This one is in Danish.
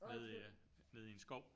Nede i ja nede i en skov